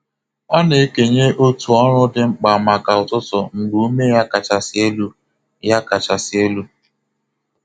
Ọ na-ekenye otu ọrụ dị mkpa maka ụtụtụ mgbe ume ya kachasị elu. ya kachasị elu.